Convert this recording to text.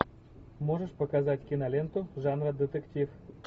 можешь показать киноленту жанр детектив